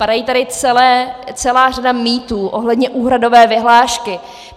Padá tady celá řada mýtů ohledně úhradové vyhlášky.